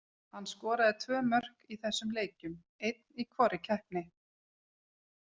Hann skoraði tvö mörk í þessum leikjum, einn í hvorri keppni.